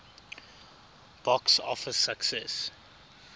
box office success